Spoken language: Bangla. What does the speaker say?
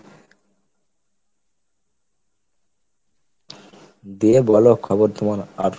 দিয়ে বলো খবর তোমার আর?